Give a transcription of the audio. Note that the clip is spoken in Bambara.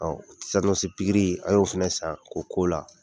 pikiri an y'o fɛnɛ san k'o k'o la.